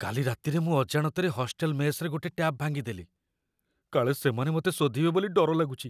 କାଲି ରାତିରେ ମୁଁ ଅଜାଣତରେ ହଷ୍ଟେଲ ମେସ୍‌ରେ ଗୋଟେ ଟ୍ୟାପ୍ ଭାଙ୍ଗିଦେଲି, କାଳେ ସେମାନେ ମତେ ଶୋଧିବେ ବୋଲି ଡର ଲାଗୁଚି ।